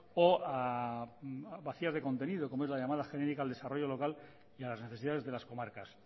o vacías de contenido como es la llamada genérica al desarrollo local y a las necesidades de las comarcas